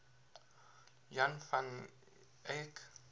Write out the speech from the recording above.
jan van eyck